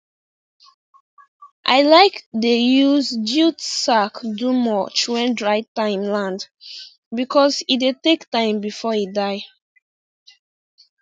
i like dey use jute sack do mulch when dry time land because e dey take time before e die